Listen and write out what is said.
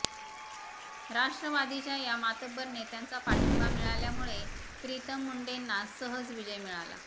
राष्ट्रवादीच्या या मातब्बर नेत्यांचा पाठिंबा मिळाल्यामुळे प्रीतम मुंडेना सहज विजय मिळाला